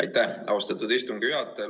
Aitäh, austatud istungi juhataja!